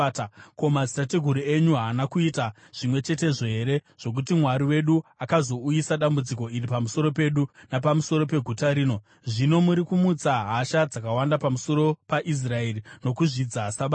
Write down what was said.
Ko, madzitateguru enyu haana kuita zvimwe chetezvo here, zvokuti Mwari wedu akazouyisa dambudziko iri pamusoro pedu napamusoro peguta rino? Zvino muri kumutsa hasha dzakawanda pamusoro paIsraeri nokuzvidza Sabata.”